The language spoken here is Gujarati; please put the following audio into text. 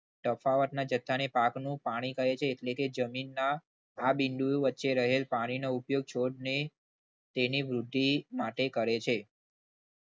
તફાવતના જથ્થાને પાકનું પાણી કહે છે. એટલે કે જમીન ના આ બિંદુ વચ્ચે રહેલ પાણીનો ઉપયોગ છોડને તેની વૃદ્ધિ માટે કરે છે.